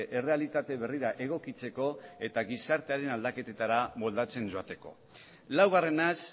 errealitate berrira egokitzeko eta gizartearen aldaketetara moldatzen joateko laugarrenaz